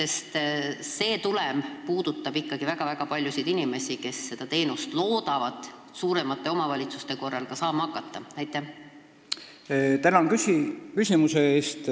Probleem puudutab ikkagi väga-väga paljusid inimesi, kes loodavad suuremate omavalitsuste korral paremaid sotsiaalteenuseid saama hakata.